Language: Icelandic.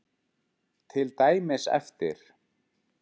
Til dæmis eftir